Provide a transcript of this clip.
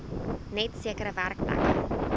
net sekere werkplekke